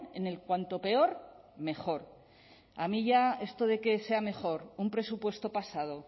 en el cuanto peor mejor a mí ya esto de que sea mejor un presupuesto pasado